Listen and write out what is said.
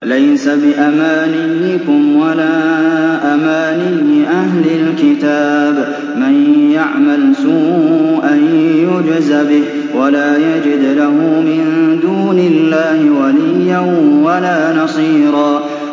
لَّيْسَ بِأَمَانِيِّكُمْ وَلَا أَمَانِيِّ أَهْلِ الْكِتَابِ ۗ مَن يَعْمَلْ سُوءًا يُجْزَ بِهِ وَلَا يَجِدْ لَهُ مِن دُونِ اللَّهِ وَلِيًّا وَلَا نَصِيرًا